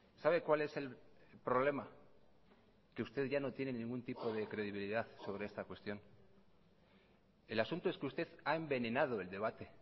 sabe cuál es el problema que usted ya no tiene ningún tipo de credibilidad sobre esta cuestión el asunto es que usted ha envenenado el debate